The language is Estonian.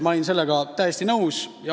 Ma olin sellega täiesti nõus.